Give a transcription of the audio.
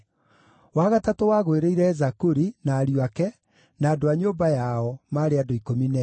wa gatatũ wagũĩrĩire Zakuri, na ariũ ake, na andũ a nyũmba yao, maarĩ andũ 12;